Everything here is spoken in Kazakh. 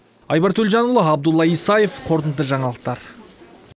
айбар төлжанұлы абдулла исаев қорытынды жаңалықтар